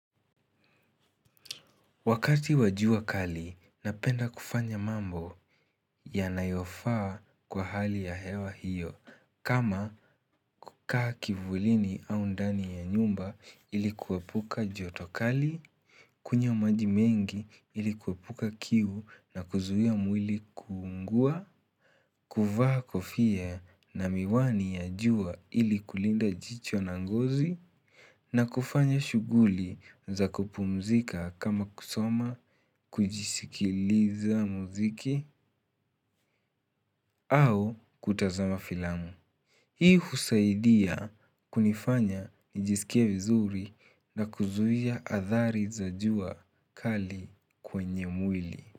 Wakati wa jua kali, napenda kufanya mambo yanayofaa kwa hali ya hewa hiyo, kama kukaa kivulini au ndani ya nyumba ili kuepuka joto kali, kunywa maji mengi ili kuepuka kiu na kuzuia mwili kuungua, kuvaa kofia na miwani ya jua ili kulinda jicho na ngozi na kufanya shuguli za kupumzika kama kusoma kujisikiliza muziki au kutazama filamu. Hii husaidia kunifanya nijisikia vizuri na kuzuia athari za jua kali kwenye mwili.